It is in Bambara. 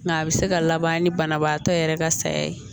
Nka a bɛ se ka laban ni banabaatɔ yɛrɛ ka saya ye